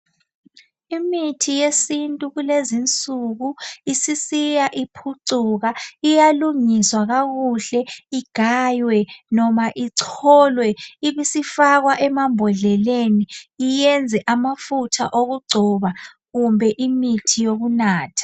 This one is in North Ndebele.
Imithi yesintu kulezi nsuku isisiya iphucuka iyalungiswa kakuhle igaywe noma icholwe ibisifakwa emambodleleni iyenze amafutha okugcoba kumbe imithi yokunatha